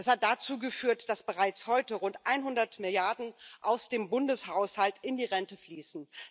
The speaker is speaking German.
Das hat dazu geführt, dass bereits heute rund 100 Milliarden aus dem Bundeshaushalt in die Rente fließen.